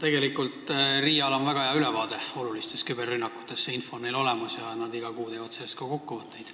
Tegelikult RIA-l on väga hea ülevaade olulistest küberrünnakutest, see info on neil olemas ja nad teevad iga kuu sellest ka kokkuvõtteid.